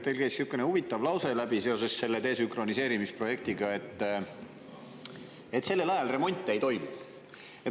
Teil käis sihukene huvitav lause läbi seoses selle desünkroniseerimise projektiga, et sellel ajal remonte ei toimu.